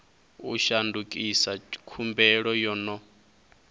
u shandukisa khumbelo yo no